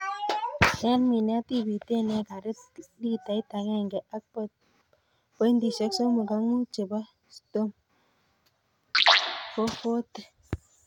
En minet ibiten ekarit litait agenge ak pointisiek somok ak mut chebo Stomp 440.